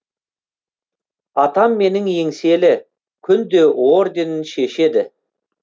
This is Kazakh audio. атам менің еңселі күнде орденін шешеді